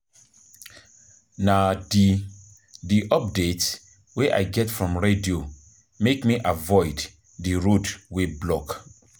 Na di di updates wey I get from radio make me avoid di road wey block.